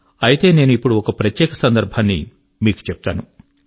అయితే నేను ఇప్పుడు ఒక ప్రత్యేక సందర్భాన్ని మీకు చెప్తాను